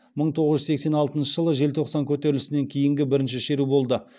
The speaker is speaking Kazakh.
мың тоғыз жүз сексен алтыншы жылғы желтоқсан көтерілісінен кейінгі бірінші шеру болды